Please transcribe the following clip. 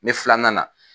Ni filanan na